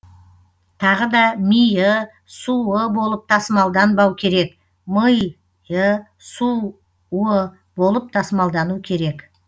тағы да ми ы су ы болып тасымалданбау керек мы йы сұ уы болып тасымалдану керек